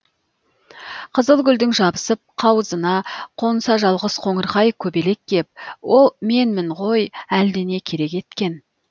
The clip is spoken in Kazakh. қызыл гүлдің жабысып қауызына қонса жалғыз қоңырқай көбелек кеп ол менмін ғой әлдене керек еткен